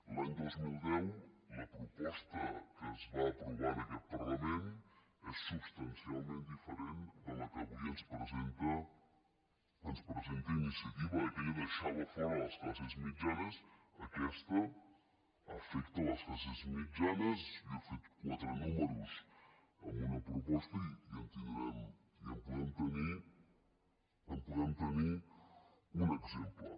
l’any dos mil deu la proposta que es va aprovar en aquest parlament és substancialment diferent de la que avui ens presenta iniciativa aquella deixava fora les classes mitjanes aquesta afecta les classes mitjanes jo he fet quatre números amb una proposta i en podem tenir un exemple